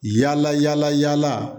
Yala yala